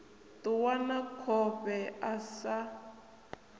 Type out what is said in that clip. ṱuwa na khofhe a sa